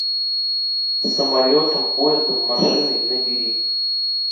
самолетом поездом машиной набери